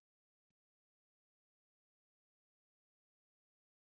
Er Lúlli heima núna? spurði Tóti kuldalega.